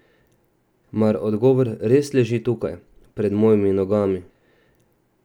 Mar odgovor res leži tukaj, pred mojimi nogami?